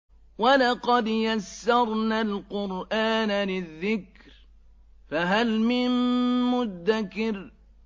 وَلَقَدْ يَسَّرْنَا الْقُرْآنَ لِلذِّكْرِ فَهَلْ مِن مُّدَّكِرٍ